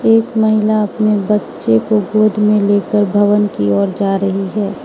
एक महिला अपने बच्चों को गोद में लेकर भवन की ओर जा रही है।